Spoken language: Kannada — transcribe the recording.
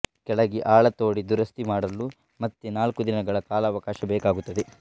ಕೆಳಗೆ ಆಳ ತೋಡಿ ದುರಸ್ತಿ ಮಾಡಲು ಮತ್ತೆ ನಾಲ್ಕು ದಿನಗಳ ಕಾಲಾವಕಾಶ ಬೇಕಾಗುತ್ತದೆ